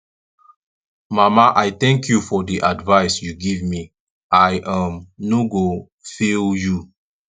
mama i thank you for the advice you give me i um no go fail you